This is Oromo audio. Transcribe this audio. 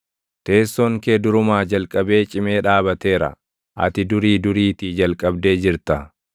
Teessoon kee durumaa jalqabee cimee dhaabateera; ati durii duriitii jalqabdee jirta.